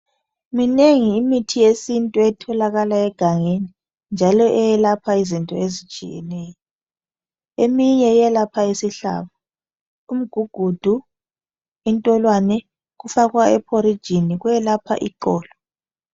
Minengi imithi yesintu etholakala egangeni njalo eyelapha izinto ezitshiyeneyo. Eminye iyelapha isihlabo. Umgugudu ,intolwane kufakwa ephorijini ,kuyelapha iqolo.